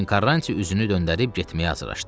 Lakin Karranti üzünü döndərib getməyə hazırlaşdı.